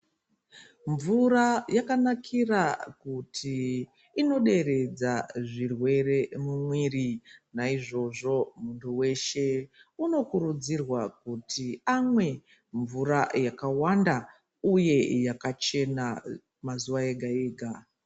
Mvura yakanakira kuti inoderedza zvirwere mumwiri. Naizvozvo muntu veshe unokurudzirwa kuti amwe mvura yakawanda, uye yakachena mazuva ega-ega.